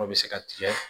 O bɛ se ka tigɛ